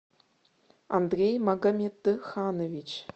андрей магомедханович